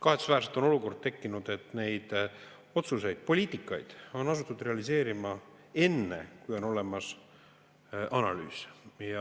Kahetsusväärselt on aga tekkinud olukord, et neid otsuseid ja seda poliitikat on asutud realiseerima enne, kui on olemas analüüs.